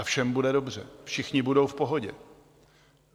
A všem bude dobře, všichni budou v pohodě.